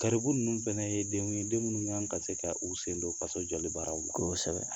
Garibugu ninnu fana ye denw den minnu kan ka se k'u sen don faso jɔli baaraw la kosɛbɛ